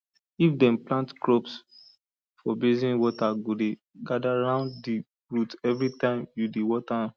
if dem plant crops for basin water go dey gather round di root everytime you dey water am